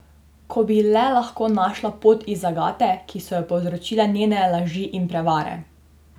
Ko bi le lahko našla pot iz zagate, ki so jo povzročile njene laži in prevare!